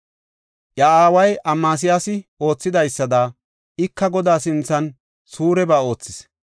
Iya aaway Amasiyaasi oothidaysada, ika Godaa sinthan suureba oothis.